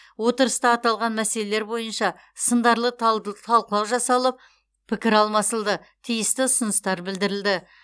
отырыста аталған мәселелер бойынша сындарлы талқылау жасалып пікір алмасылды тиісті ұсыныстар білдірілді